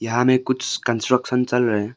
यहां में कुछ कंस्ट्रक्शन चल रहे हैं।